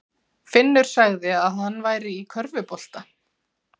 Finnur sagði að hann væri í körfubolta.